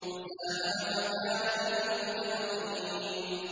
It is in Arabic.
فَسَاهَمَ فَكَانَ مِنَ الْمُدْحَضِينَ